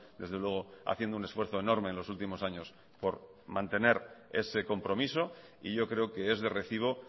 desde luego haciendo un esfuerzo enorme en los últimos años por mantener ese compromiso y yo creo que es de recibo